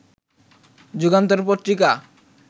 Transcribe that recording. Jugantor Patrika